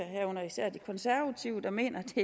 herunder især de konservative der mener at det